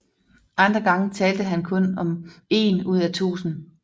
Andre gange talte han om kun én ud af tusind